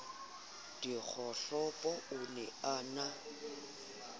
dikgohlopo o ne a na